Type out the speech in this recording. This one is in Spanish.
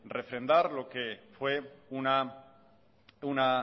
refrendar lo que fue una